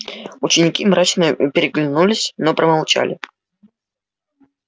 ученики мрачно переглянулись но промолчали